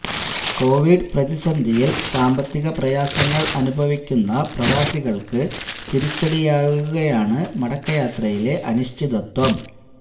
Covid പ്രതിസന്ധിയില് സാമ്പത്തിക പ്രയാസങ്ങള് അനുഭവിക്കുന്ന പ്രവാസികള്ക്ക് തിരിച്ചടിയാകുകയാണ് മടക്കയാത്രയിലെ അനിശ്ചിതത്വം